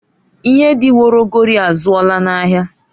Ihe dị woro ogori azụọla n'ahịa.